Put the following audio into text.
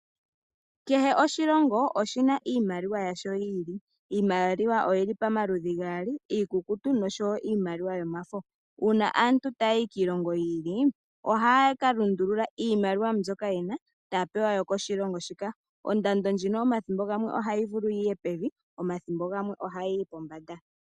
Kehe oshilongo oshina iimaliwa yasho yi ili. Iimaliwa oyili pa maludhi gaali, iikukutu nosho wo iimaliwa yomafo. Uuna aantu ta yayi kiilongo yi ili ohaya ka lundulula iimaliwa mbyoka yena taya pewa yo koshilongo shika. Ondando ndjino omathimbo gamwe ohayi vulu yiye pevi, omathimbo gamwe oha yiyi pombanda.